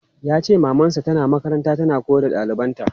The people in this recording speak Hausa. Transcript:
Yace maman sa tana makaranta tana koyar da ɗalibanta.